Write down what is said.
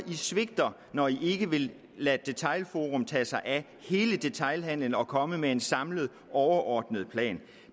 svigter når de ikke vil lade detailforum tage sig af hele detailhandelen og komme med en samlet overordnet plan